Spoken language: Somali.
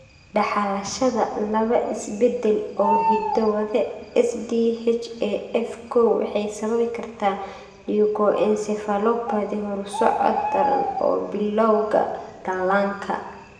Dhaxalashada laba isbeddel oo hiddo-wade SDHAF kow waxay sababi kartaa leukoencephalopathy horusocod daran oo bilawga dhallaanka.